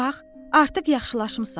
Bax, artıq yaxşılaşmısan.